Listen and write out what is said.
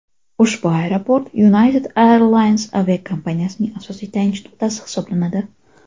Ushbu aeroport United Airlines aviakompaniyasining asosiy tayanch nuqtasi hisoblanadi.